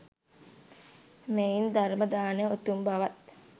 මෙයින් ධර්ම දානය උතුම් බවත්